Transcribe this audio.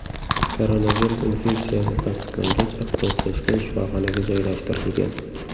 Koronavirus infeksiyasi tasdiqlangach, ixtisoslashgan shifoxonaga joylashtirilgan.